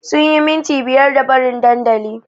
Sunyi minti biyar da barin dandali